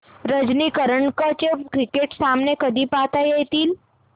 रणजी करंडक चे क्रिकेट सामने कधी पाहता येतील